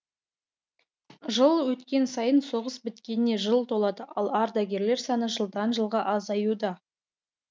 жыл өткен сайын соғыс біткеніне жыл толады ал ардагерлер саны жылдан жылға азаюда